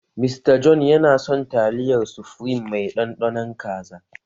Mr. John yana son taliyar sufreme mai ɗanɗanon kaza.